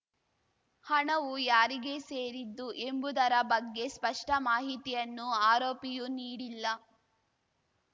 ಹಣವು ಯಾರಿಗೆ ಸೇರಿದ್ದು ಎಂಬುದರ ಬಗ್ಗೆ ಸ್ಪಷ್ಟಮಾಹಿತಿಯನ್ನು ಆರೋಪಿಯು ನೀಡಿಲ್ಲ